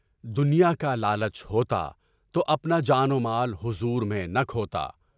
دنیاکا لالچ ہوتا تو، اپنا جان و مال حضور میں نہ کھوتا۔